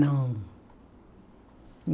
Não.